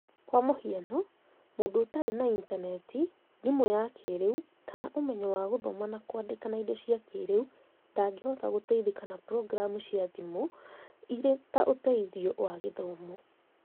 Kwa mũhiano, mũndũ ũtarĩ na Intaneti, thimũ ya kĩĩrĩu kana ũmenyo wa gũthoma na kwandĩka na indo cia kĩĩrĩu ndangĩhota gũteithĩka na programu cia thimũ irĩ ta ũteithio wa gĩthomo